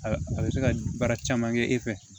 A a bɛ se ka baara caman kɛ e fɛ